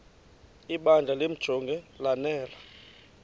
ibandla limjonge lanele